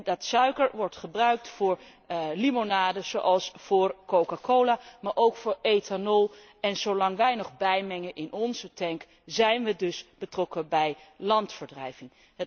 Die suiker wordt gebruikt voor limonades, zoals voor Coca Cola, maar ook voor ethanol, en zolang wij nog bijmengen in onze tank, zijn we dus betrokken bij landverdrijving.